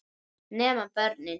Nema börnin.